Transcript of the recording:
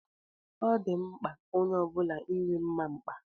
Ọ dị mkpa onye ọbula inwe mma mkpa.